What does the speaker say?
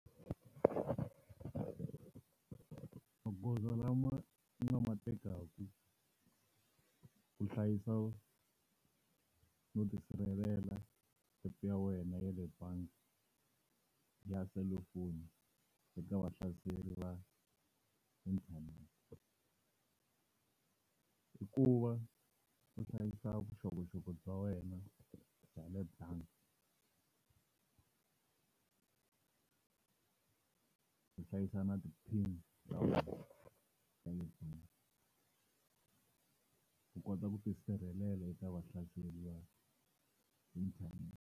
Magoza lama u nga matekaku ku hlayisa no tisirhelela app ya wena ya le bangi ya selufoni eka vahlaseri va inthanete, i ku va u hlayisa vuxokoxoko bya wena bya le bangi u hlayisa na ti-pin-i u kota ku tisirhelela eka vahlaseri va inthanete.